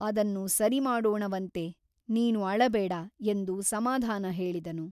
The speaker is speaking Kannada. ಅದನ್ನು ಸರಿಮಾಡೋಣವಂತೆ ನೀನು ಅಳಬೇಡ ಎಂದು ಸಮಾಧಾನ ಹೇಳಿದನು.